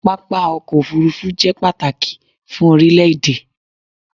Pápá ọkọ̀ òfurufú jẹ pàtàkì fún orílẹ̀ èdè